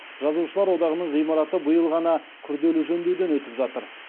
жазушылар одағының ғимараты биыл ғана күрделі жөндеуден өтіп жатыр